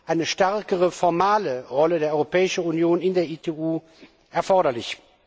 eine stärkere formale Rolle der Europäischen Union in der ITU erforderlich.